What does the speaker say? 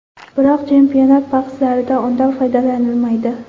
Biroq chempionat bahslarida undan foydalanilmaydi.